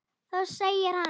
Þá segir hann